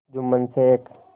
Jumman Sheikh